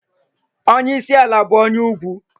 Onyeisi ala bụ onye ugwu.